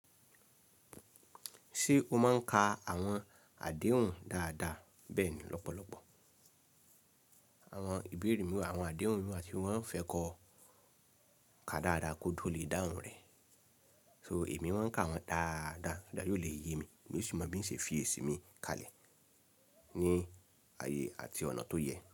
Ṣé o máa ń ka àwọn àdéhùn dáadáa, bẹ́ẹ̀ ni lọ́pọ̀lọpọ̀ àwọn ìbéèrè mi wà- àwọn àdéhùn mi wà tí wọ́n fẹ́ kọ ká dáadáa kó tó lè dáhùn rẹ̀. So, èmi máa ń ka wọn dáadáa ko le yé mi, kin sì mo tin ṣe fi èsì mi kalẹ̀ ní ayé àti ọ̀nà tó yẹ.